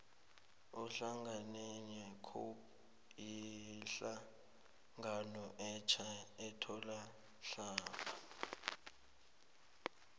ihlangano ye cope yihlangano etja ethoma mhlapha